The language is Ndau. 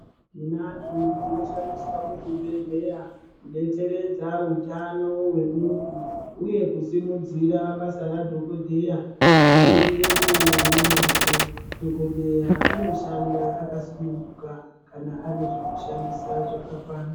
Tinazvo zvinoshandiswa muzvibhedhlera kudetseredza utano hwemuntu uye kusimudzira basa radhokofheya kuti riendeke nemazvi dhokodheya anoshanda akasununguka kana ane zvekushandisa zvakakwana.